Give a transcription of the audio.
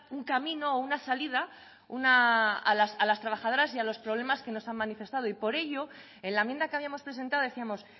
un camino o una salida a las trabajadoras y a los problemas que nos han manifestado y por ello en la enmienda que habíamos presentado decíamos